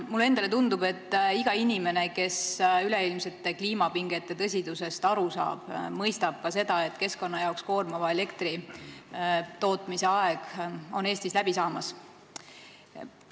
Mulle endale tundub, et iga inimene, kes üleilmsete kliimapingete tõsidusest aru saab, mõistab ka seda, et keskkonna jaoks koormava elektritootmise aeg on Eestis läbi saamas.